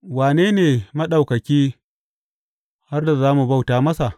Wane ne Maɗaukaki har da za mu bauta masa?